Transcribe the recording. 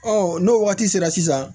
n'o waati sera sisan